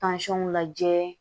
lajɛ